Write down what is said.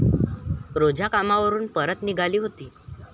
रोझा कामावरून परत निघाली होती.